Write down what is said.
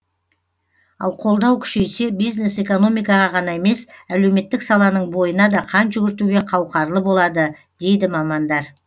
ал қолдау күшейсе бизнес экономикаға ғана емес әлеуметтік саланың бойына да қан жүгіртуге қауқарлы болады дейді мамандар